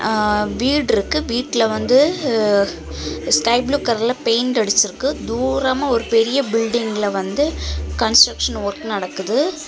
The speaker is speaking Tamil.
ஆ வீடு இருக்கு. வீட்ல வந்து ஸ்கை ப்ளூ கலர்ல பெயிண்ட் அடிச்சிருக்கு. தூரமா ஒரு பெரிய பில்டிங்ல வந்து கன்ஸ்ட்ரக்ஷன் ஒர்க் நடக்குது.